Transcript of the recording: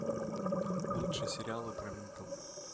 лучшие сериалы про ментов